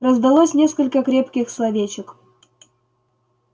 раздалось несколько крепких словечек